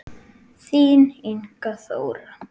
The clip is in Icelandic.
Þín Inga Þóra.